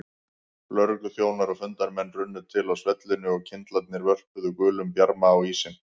Lögregluþjónar og fundarmenn runnu til á svellinu og kyndlarnir vörpuðu gulum bjarma á ísinn.